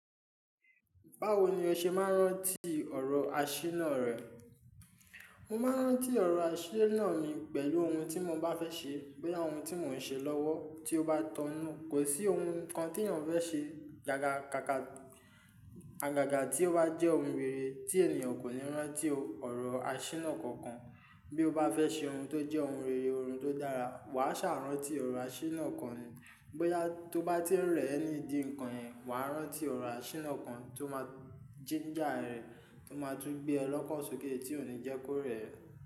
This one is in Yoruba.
Báwo ni o ṣe máa ń rántí ọ̀rọ̀ àṣínà rẹ̀? Mo máa ń rántí ọ̀rọ̀ àṣínà mi pẹ̀lú ohun tí mo bá fẹ́ ṣe, bóyá ohun tí mò ń ṣe lọ́wọ́ tí ó bá tọnu. Kò sí ohun kan tí ènìyàn fẹ́ ṣe gaga ka ka-- àgàgà tí ó bá jẹ́ ohun rere tí ènìyàn kò ní rántí ọ̀rọ̀ àṣína kankan. Bí ó bá fẹ́ ṣe ohun tó jẹ́ ohun rere, ohun tó dára, wà á ṣàrántí ọ̀rọ̀ àṣínà kan ni. Bóyá tó bá ti ń rẹ̀ ẹ́ nídi ǹkan yẹn, wà á rántí ọ̀rọ̀ àṣínà kan tó máa jínjà rẹ, tó máa tún gbé ọ lọ́kan sókè tí ò ní jẹ́ kó rẹ̀ ẹ́.